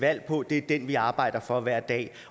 valg på det er den vi arbejder for hver dag